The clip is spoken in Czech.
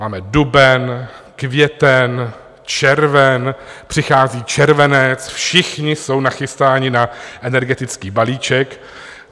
Máme duben, květen, červen, přichází červenec, všichni jsou nachystáni na energetický balíček.